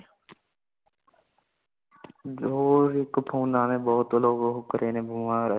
ਹੋਰ ਇਕ phone ਨੇ ਬਹੁਤ ਲੋਗਾ ਨੂੰ ਕਰੇ ਨੇ ਬਿਮਾਰ